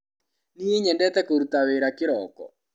Niĩ nyendete kũruta wĩra kĩroko.